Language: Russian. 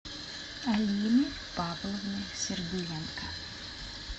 алины павловны сергеенко